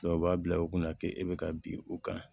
u b'a bila u kunna k'e bɛ ka bin u kan